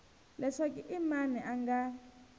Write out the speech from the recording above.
leswaku i mani a nga